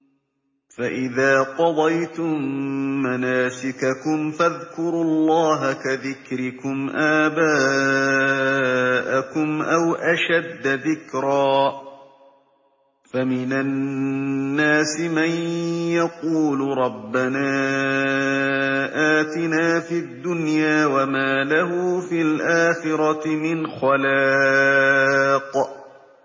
فَإِذَا قَضَيْتُم مَّنَاسِكَكُمْ فَاذْكُرُوا اللَّهَ كَذِكْرِكُمْ آبَاءَكُمْ أَوْ أَشَدَّ ذِكْرًا ۗ فَمِنَ النَّاسِ مَن يَقُولُ رَبَّنَا آتِنَا فِي الدُّنْيَا وَمَا لَهُ فِي الْآخِرَةِ مِنْ خَلَاقٍ